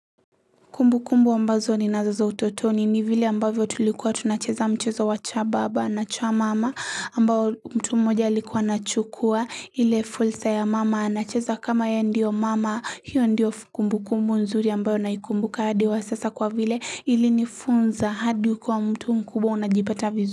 Kumbu kumbu ambazo ni nazo za utotoni ni vile ambavyo tulikuwa tunacheza mchezo wa cha baba na cha mama ambao mtu mmoja alikuwa anachukua ile fulsa ya mama anacheza kama yeye ndio mama hiyo ndio kumbu kumbu nzuri ambayo naikumbuka hadi wa sasa kwa vile ili nifunza hadi ukiwa mtu mkubwa unajipata vizu.